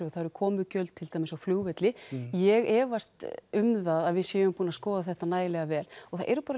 og það eru komugjöld til dæmis á flugvelli ég efast um það að við séum búin að skoða þetta nægilega vel og það eru bara